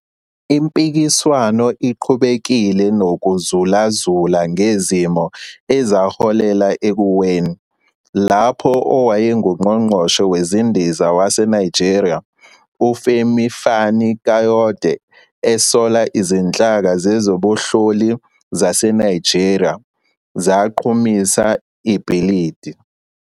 Impikiswano iqhubekile nokuzulazula ngezimo ezaholela ekuweni, lapho owayenguNgqongqoshe Wezindiza waseNigeria uFemi Fani-Kayode esola izinhlaka zezobunhloli zaseNigeria 'zaqhumisa' ibhilidi.